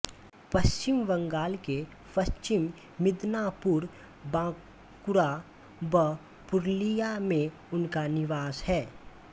पश्चिम बंगाल के पश्चिम मिदनापुर बांकुरा व पुरुलिया में उनका निवास है